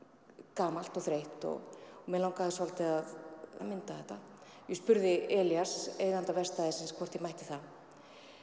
gamalt og þreytt og mig langaði svolítið að mynda þetta ég spurði Elías eiganda verkstæðisins hvort ég mætti það